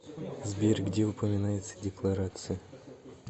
сбер где упоминается декларации